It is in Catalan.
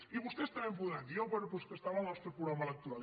i vostès també em podran dir no bé però és que estava al nostre programa electoral